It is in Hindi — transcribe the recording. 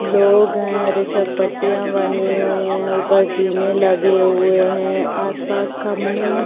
लोग हैं। पट्टिया बनी हुई है। ऊपर जीने लगे हुए हैं। आस पास खम्बे --